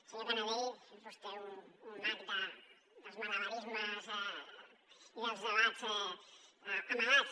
senyor canadell és vostè un mag dels malabarismes i dels debats amagats